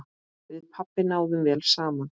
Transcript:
Við pabbi náðum vel saman.